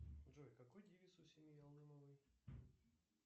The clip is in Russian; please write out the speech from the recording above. джой какой девиз у семьи алымовой